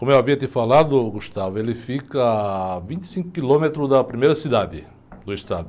Como eu havia te falado, ele fica a vinte e cinco quilômetros da primeira cidade do estado.